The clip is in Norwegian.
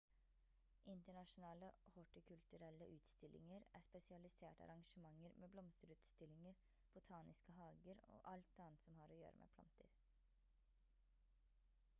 internasjonale hortikulturelle utstillinger er spesialiserte arrangementer med blomsterutstillinger botaniske hager og alt annet som har å gjøre med planter